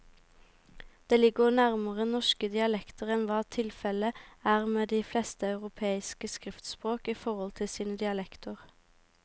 Det ligger nærmere norske dialekter enn hva tilfellet er med de fleste europeiske skriftspråk i forhold til sine dialekter.